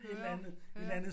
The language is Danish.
Høre høre